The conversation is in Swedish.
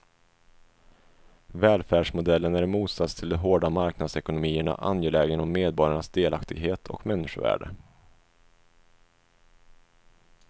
Välfärdsmodellen är i motsats till de hårda marknadsekonomierna angelägen om medborgarnas delaktighet och människovärde.